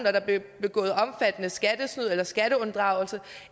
at der bliver begået omfattende skattesnyd eller skatteunddragelse